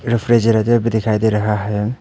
Refrigerator भी दिखाई दे रहा है।